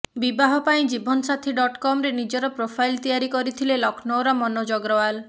ବିବାହ ପାଇଁ ଜୀବନସାଥୀ ଡଟ କମରେ ନିଜର ପ୍ରୋଫାଇଲ ତିଆରି କରିଥିଲେ ଲକ୍ଷ୍ନୌର ମନୋଜ ଅଗ୍ରୱାଲ